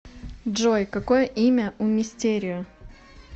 джой какое имя у мистерио